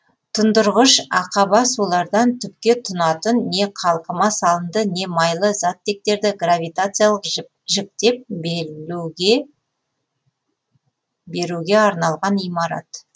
тұндырғыш ақаба сулардан түпке тунатын не қалқыма салынды не майлы заттектерді гравитациялық жіктеп беруге арналған имарат